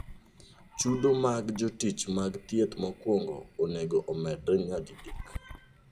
Chudo mag jotich mag thieth mokwongo onego omedre nyadidek.